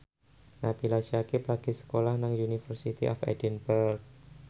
Nabila Syakieb lagi sekolah nang University of Edinburgh